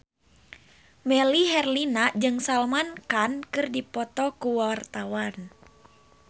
Melly Herlina jeung Salman Khan keur dipoto ku wartawan